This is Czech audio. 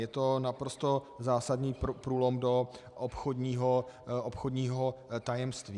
Je to naprosto zásadní průlom do obchodního tajemství.